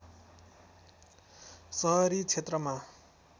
सहरी क्षेत्रमा